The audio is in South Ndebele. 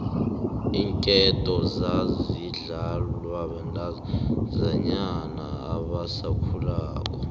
iinketo zazidlalwa bantazinyana abasakhulako